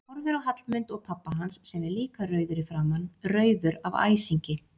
Horfir á Hallmund og pabba hans sem er líka rauður í framan, rauður af æsingi.